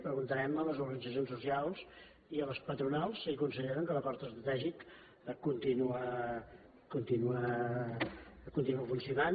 preguntarem a les organitzacions socials i a les patronals si consideren que l’acord estratègic continua funcionant